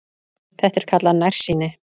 Þetta er kallað nærsýni.